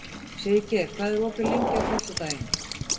Siggeir, hvað er opið lengi á föstudaginn?